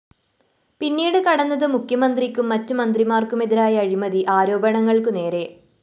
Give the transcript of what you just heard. പിന്നീട് കടന്നത് മുഖ്യമന്ത്രിക്കും മറ്റു മന്ത്രിമാര്‍ക്കുമെതിരായ അഴിമതി ആരോപണങ്ങള്‍ക്കു നേരെ